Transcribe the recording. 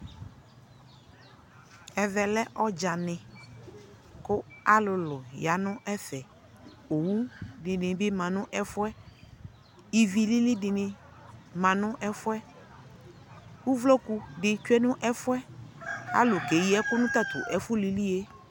ɛvɛ lɛ ɔdzanɛ kʋ alʋ lʋ yanʋ ɛvɛ, ɔwʋ dini bi manʋ ɛƒʋɛ, ivi lili dini manʋ ɛƒʋɛ, ʋvlɔkʋ bi twɛ nʋ ɛƒʋɛ alʋkɛ yii ɛkʋ nʋ tatʋ ɛfʋ liliɛ